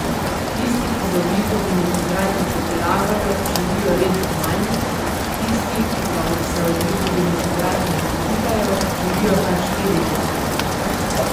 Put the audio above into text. Tisti, ki z ogljikovimi hidrati pretiravajo, živijo leto manj, tisti, ki pa se ogljikovim hidratom izogibajo, živijo kar štiri leta manj.